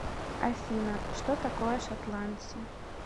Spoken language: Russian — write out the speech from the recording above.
афина что такое шотландцы